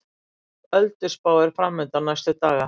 Þung ölduspá er framundan næstu daga